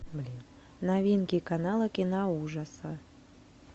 новинки канала киноужаса